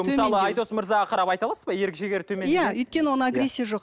мысалы айдос мырзаға қарап айта аласыз ба ерік жігері төмен иә өйткені оны агрессия жоқ